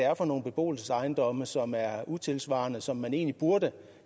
er for nogle beboelsesejendomme som er utidssvarende og som man egentlig burde